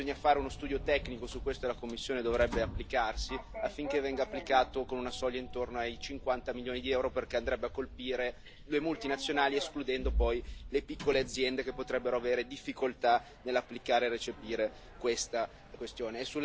Bisogna fare uno studio tecnico su questo, e la Commissione dovrebbe applicarsi, affinché venga applicato con una soglia intorno ai 50 milioni di euro, perché andrebbe a colpire le multinazionali, escludendo poi le piccole aziende che potrebbero avere difficoltà nell'applicare e recepire questa questione.